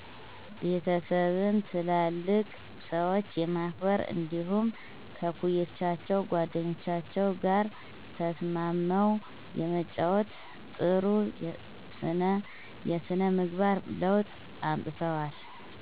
ቤተሰብን፣ ትላልቅ ሰዎችን የማክበር እንዲደሁም ከእኩዮቻቸው ጓደኞቻቸው ጋር ተስማምው የመጫወት ጥሩ ስነ የስነ ምግባር ለውጥ አምጥተዋል